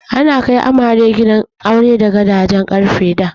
Ana kai amare gidan aure da gadajen ƙarfe da.